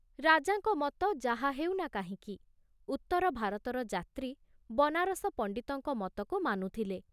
ରାଜାଙ୍କ ମତ ଯାହା ହେଉ ନା କାହିଁକି, ଉତ୍ତର ଭାରତର ଯାତ୍ରୀ ବନାରସ ପଣ୍ଡିତଙ୍କ ମତକୁ ମାନୁଥିଲେ।